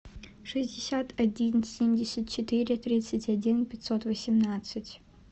шестьдесят один семьдесят четыре тридцать один пятьсот восемнадцать